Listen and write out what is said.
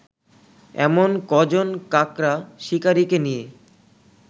এমন কজন কাকড়া শিকারিকে নিয়ে